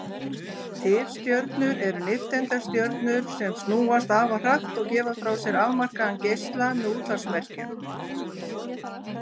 Tifstjörnur eru nifteindastjörnur sem snúast afar hratt og gefa frá sér afmarkaðan geisla með útvarpsmerkjum.